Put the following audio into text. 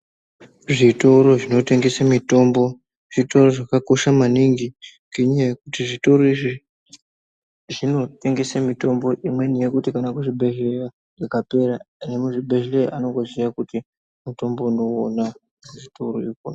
Zvitoro zvinotengese mitombo zvitoro zvakakosha maningi ngenyaya yekuti zvitoro izvi zvinotengese mitombo imweni yokuti kana kuzvibhedhleya ikapera iri muzvibhedhleya anondoziye kuti mutombo unouwona kuzvitoro ikona.